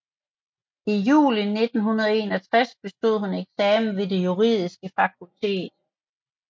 I juli 1961 bestod hun eksamen ved det juridiske fakultet